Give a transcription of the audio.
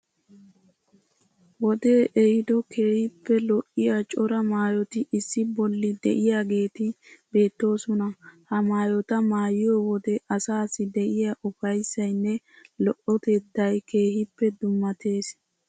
Wodee ehiido keehippe lo'iya cora maayoti issi bolli de'iyageeti beettoosona. Ha maayota maayiyo wode asaassi de'iya ufayissayinne lo'otettayi keehippe dummattees.